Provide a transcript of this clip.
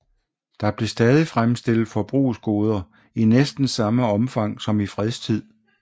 Der blev stadig fremstillet forbrugsgoder i næsten samme omfang som i fredstid